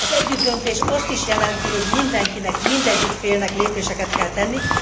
Az együttdöntés azt is jelenti, hogy mindenkinek, mindegyik félnek lépéseket kell tenni.